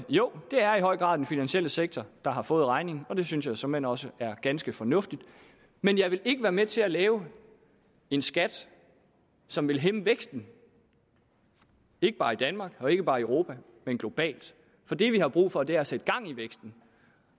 jo det er i høj grad den finansielle sektor der har fået regningen og det synes jeg såmænd også er ganske fornuftigt men jeg vil ikke være med til at lave en skat som vil hæmme væksten ikke bare i danmark og ikke bare i europa men globalt det vi har brug for er at sætte gang i væksten